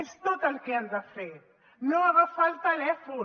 és tot el que han de fer no agafar el telèfon